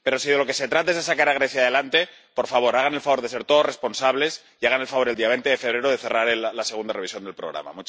Pero si de lo que se trata es de sacar a Grecia adelante, por favor, hagan el favor de ser todos responsables y hagan el favor, el día 20 de febrero, de cerrar la segunda revisión del programa.